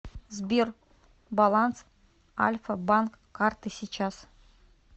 сбер баланс альфа банк карты сейчас